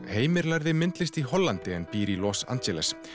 Heimir lærði myndlist í Hollandi en býr í Los Angeles